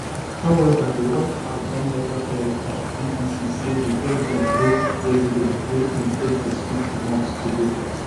however di white house don later tell um bbc say di president no president no in ten d to speak to musk today